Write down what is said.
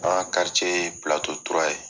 An ka ye ye.